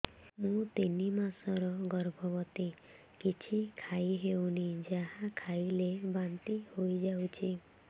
ମୁଁ ତିନି ମାସର ଗର୍ଭବତୀ କିଛି ଖାଇ ହେଉନି ଯାହା ଖାଇଲେ ବାନ୍ତି ହୋଇଯାଉଛି